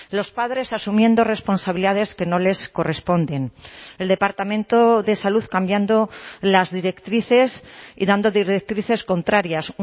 los padres asumiendo responsabilidades que no les corresponden el departamento de salud cambiando las directrices y dando directrices contrarias